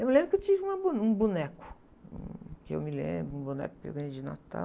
Eu me lembro que eu tive uma bo, um boneco, que eu me lembro, um boneco que eu ganhei de natal.